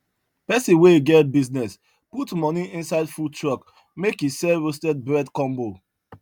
pesin wey get business put moni inside food truck make e sell roasted bread combo